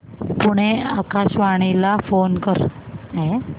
पुणे आकाशवाणीला फोन कर